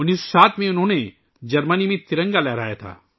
1907 ء میں ، انہوں نے جرمنی میں ترنگا لہرایا